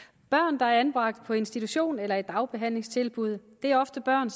børn der er anbragt på institution eller i dagbehandlingstilbud er ofte børn